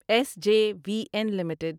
S J V N limited